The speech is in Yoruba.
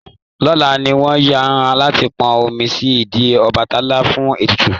Lọlá ni wọ́n yàn láti pọn omi sí ìdí Ọbàtálá fún ètùtù.